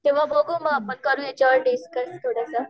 तेंव्हा बघू मग आपण करू याच्यावर मग डिस्कस थोडंसं.